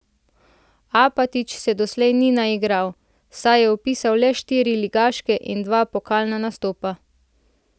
Apatič se doslej ni naigral, saj je vpisal le štiri ligaške in dva pokalna nastopa.